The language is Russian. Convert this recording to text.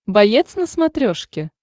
боец на смотрешке